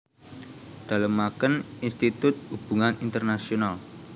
Dalemaken Institut Hubungan Internasional